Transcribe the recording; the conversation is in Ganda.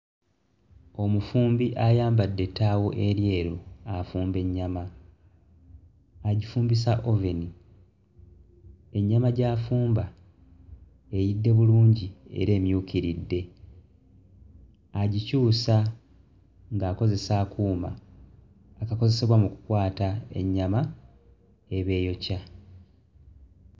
Omufumbi ayambadde ettaaawo eryeru afumba ennyama agifumbisa oven, ennyama gy'afumba eyidde bulungi era emyukiridde agikyusa ng'akozesa akuuma akakozesebwa mu kkwata ennyama eba eyokya.